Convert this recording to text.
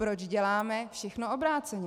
Proč děláme všechno obráceně?